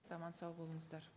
аман сау болыңыздар